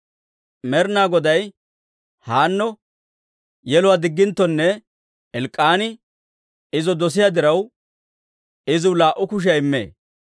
Med'inaa Goday Haanno yeluwaa digginttokka, Elk'k'aani izo dosiyaa diraw, iziw laa"u kushiyaa immee.